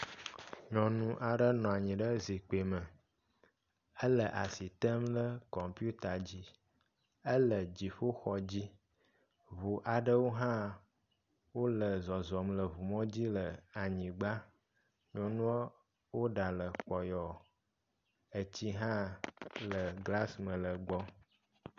Nyɔnu aɖe nɔ anyi ɖe zikpui me. Ele asi tem ɖe kɔmpita dzi. Ele dziƒoxɔ dzi. Ŋu aɖewo hã wole zɔzɔm le ŋumɔ dzi le anyigba. Nyɔnua, wò ɖa le kpɔyɔ. Etsi hã le glasi me le egbɔ.